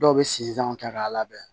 Dɔw bɛ sizanw ta k'a labɛn